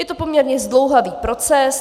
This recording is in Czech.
Je to poměrně zdlouhavý proces.